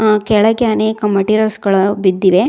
ಆ ಕೆಳಗೆ ಅನೇಕ ಮೆಟೀರಿಯಲ್ಸ್ ಗಳು ಬಿದ್ದಿವೆ.